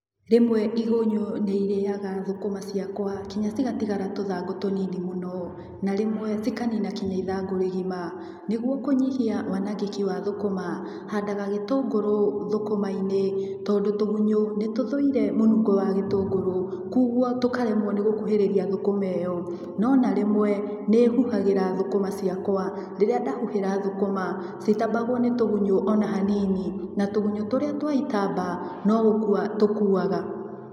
Rĩmwe igunyũ nĩ irĩyaga thũkũma cĩakwa nginya cigatigara tũthangũ tũnini mũno. Na rĩmwe cikanina nginya ithangũ rĩgima. Nĩguo kũnyihia wanangĩki wa thũkũma, handaga gĩtũngũrũ thũkũma-inĩ tondũ tũgunyũ nĩ tũthũire mũnungo wa gĩtũngũrũ kogwo tũkaremwo nĩgũkuhĩrĩria thũkũma ĩyo. No ona rĩmwe nĩ huhagĩria thũkũma cĩakwa, rĩrĩa ndahuhĩra thũkũma cititambagwo nĩ tũgunyũ o na hanini, na tũgunyũ tũrĩa twaitamba no gũkua tũkuaga.